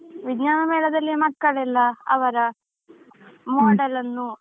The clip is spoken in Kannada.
ವಿಜ್ಞಾನ ಮೇಳದಲ್ಲಿ ಮಕ್ಕಳೆಲ್ಲಾ ಅವರ model ಅನ್ನು